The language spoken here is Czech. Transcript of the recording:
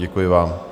Děkuji vám.